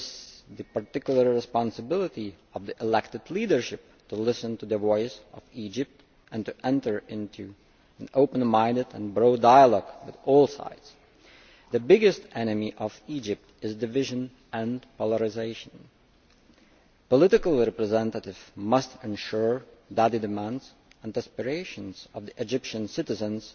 It is the particular responsibility of the elected leadership to listen to the voice of Egypt and to enter into an open minded and broad dialogue with all sides. Egypt's biggest enemy is division and polarisation. Political representatives must ensure that the demands and aspirations of the Egyptian citizens